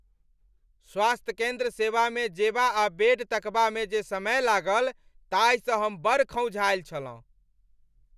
स्वास्थ्य केंद्र सेवामे जेबा आ बेड तकबामे जे समय लागल ताहिसँ हम बड़ खौंझायल छलहुँ।